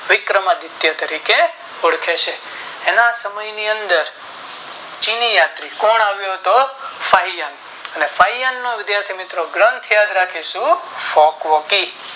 વિકર્મ આદિત્ય તરીકે ઓળખે છે એના સમય ની અંદર ચીની યાત્રી કોણ આવ્યો હતો તો શાહીંયાંગ અને શાહીંયાંગ નો વિધાથી મિત્રો ગ્રન્થ યાદ રાખીશું શોક વોકી